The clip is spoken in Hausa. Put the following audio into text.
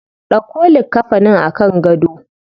Dauko likkafanin a kan gado.